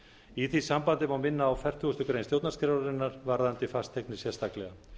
í því sambandi má minna á fertugustu grein stjórnarskrárinnar varðandi fasteignir sérstaklega